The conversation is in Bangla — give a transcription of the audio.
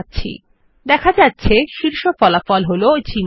দেখা যাচ্ছে শীর্ষ ফলাফল হলো জিমেইল যেটি গুগল প্রদত্ত ইমেইল